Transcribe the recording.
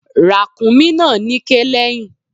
Ràkúnmí náà níké lẹ́yìn.